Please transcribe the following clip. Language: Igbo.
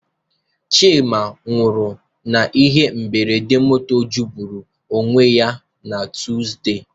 Chima nwụrụ n'ihe mberede moto jọgburu onwe ya na Tuzdee.